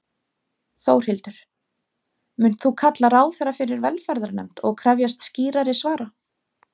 Þórhildur: Munt þú kalla ráðherra fyrir velferðarnefnd og krefjast skýrari svara?